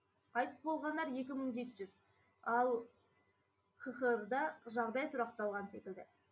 қайтыс болғандар екі мың жеті жүз ал қхр да жағдай тұрақталған секілді